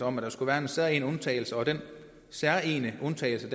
om at der skal være en særegen undtagelse og den særegne undtagelse